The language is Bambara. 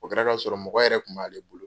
O kɛra ka sɔrɔ mɔgɔ yɛrɛ kun b'ale bolo.